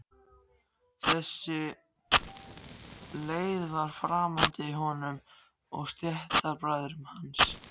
Þessi leið var framandi honum og stéttarbræðrum hans.